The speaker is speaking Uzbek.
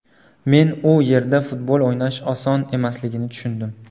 Men u yerda futbol o‘ynash oson emasligini tushundim.